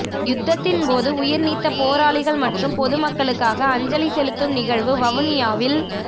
யுத்தத்தின் போது உயிர் நீத்த போராளிகள் மற்றும் பொது மக்களுக்கான அஞ்சலி செலுத்தும் நிகழ்வு வவுனியாவில